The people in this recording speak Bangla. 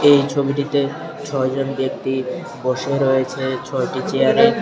এই ছবিটিতে ছয় জন ব্যক্তি বসে রয়েছে ছয়টি চেয়ারে।